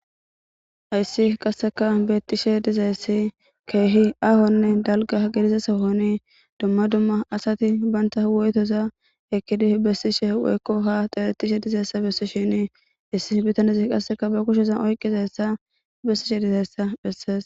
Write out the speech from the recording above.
Hayssi qasseka beettishe dizayssi keehi ahonne dalga gidiza sahoni dumma dumma asati baynta woytoza ekkidi bessishe woykko ha xeletishe dizayssa bessishini issi bitanezi qasseka ba kushezan oykizayssa bessishe dizayssa bessees